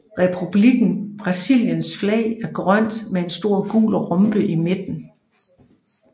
Republikken Brasiliens flag er grønt med en stor gul rombe i midten